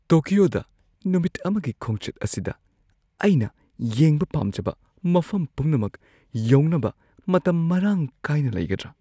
ꯇꯣꯀꯤꯌꯣꯗ ꯅꯨꯃꯤꯠ ꯑꯃꯒꯤ ꯈꯣꯡꯆꯠ ꯑꯁꯤꯗ ꯑꯩꯅ ꯌꯦꯡꯕ ꯄꯥꯝꯖꯕ ꯃꯐꯝ ꯄꯨꯝꯅꯃꯛ ꯌꯧꯅꯕ ꯃꯇꯝ ꯃꯔꯥꯡ ꯀꯥꯏꯅ ꯂꯩꯒꯗ꯭ꯔꯥ?